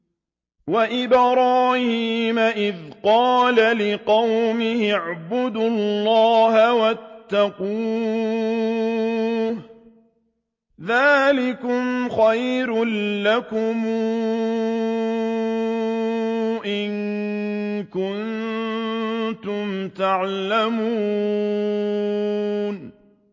وَإِبْرَاهِيمَ إِذْ قَالَ لِقَوْمِهِ اعْبُدُوا اللَّهَ وَاتَّقُوهُ ۖ ذَٰلِكُمْ خَيْرٌ لَّكُمْ إِن كُنتُمْ تَعْلَمُونَ